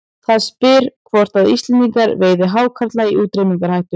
Það spyr hvort að Íslendingar veiði hákarla í útrýmingarhættu.